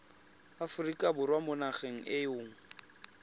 aforika borwa mo nageng eo